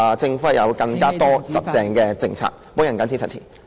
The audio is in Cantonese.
政府有更多堅實的政策，我謹此陳辭。